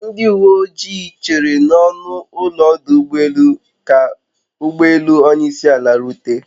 Ndi uwe ojii chere n'ọnụ ụlọ ọdụ ụgbọ elu ka ụgbọ elu onyeisiala rute